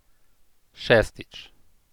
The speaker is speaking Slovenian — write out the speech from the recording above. Šestič.